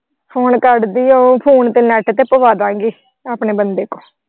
phone ਕਰਦੀਂ phone ਤੇ net ਤੇ ਪਵਾਦਾਂਗੇ ਆਪਣੇ ਬੰਦੇ ਕੋਲ।